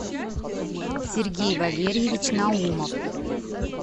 сергей валерьевич наумов